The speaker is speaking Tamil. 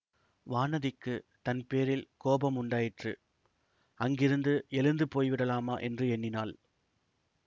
வானதிக்குத் தன் பேரில் கோபம் உண்டாயிற்று அங்கிருந்து எழுந்து போய்விடலாமா என்று எண்ணினாள்